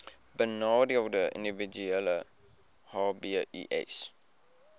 benadeelde individue hbis